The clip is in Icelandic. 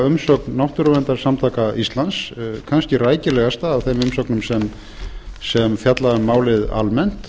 umsögn náttúruverndarsamtaka íslands kannski rækilegasta af þeim umsögnum sem fjalla um málið almennt